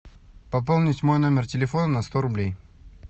пополнить мой номер телефона на сто рублей